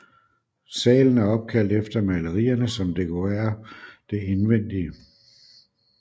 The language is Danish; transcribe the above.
Salen er opkaldt efter malerierne som dekorerer dets indvendige